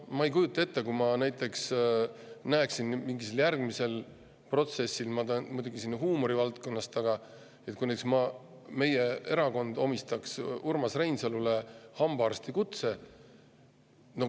Ma ei kujuta ette, mis oleks, kui ma näiteks näeksin mingil järgmisel protsessil – see on muidugi huumori valdkonnast –, et meie erakond omistaks Urmas Reinsalule hambaarstikutse.